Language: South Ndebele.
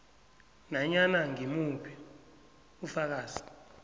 nanyana ngimuphi ufakazi